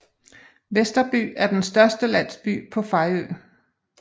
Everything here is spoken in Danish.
Vesterby er den største landsby på Fejø